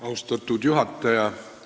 Austatud juhataja!